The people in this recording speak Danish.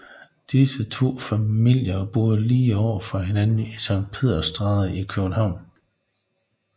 Disse to familier boede lige over for hinanden i Sankt Peders Stræde i København